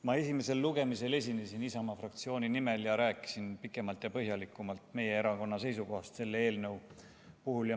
Ma esimesel lugemisel esinesin Isamaa fraktsiooni nimel ja rääkisin pikemalt ja põhjalikumalt meie erakonna seisukohast selle eelnõu puhul.